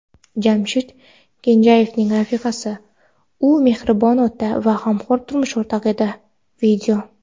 Jamshid Kenjayevning rafiqasi: u mehribon ota va g‘amxo‘r turmush o‘rtoq edi.